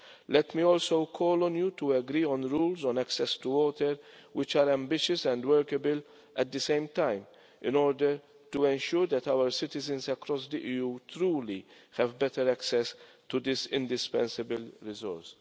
Let me also call on you to agree on rules on access to water which are ambitious and workable at the same time in order to ensure that our citizens across the EU truly have better access to this indispensable resource.